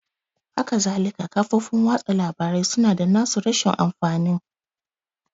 Hakazalika kafofin watsa labarai su na da na su rashin amfanin